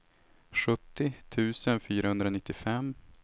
sjuttio tusen fyrahundranittiofem